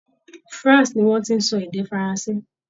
France ni wọ́n ti ń sọ èdè Faranse.